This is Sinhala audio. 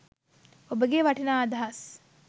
ඔබගේ වටිනා අදහස්